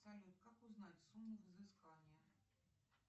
салют как узнать сумму взыскания